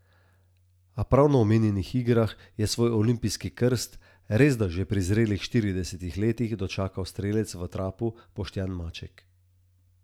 A prav na omenjenih igrah je svoj olimpijski krst, resda že pri zrelih štiridesetih letih, dočakal strelec v trapu Boštjan Maček.